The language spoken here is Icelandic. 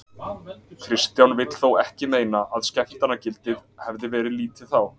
Kristján vill þó ekki meina að skemmtanagildið hafið verið lítið þá.